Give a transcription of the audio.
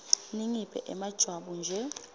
ningiphe emajwabu nje